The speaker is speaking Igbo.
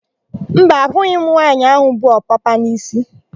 Mba, ahụghị m nwaanyị áhụ̀ bu ọpapa n'isi.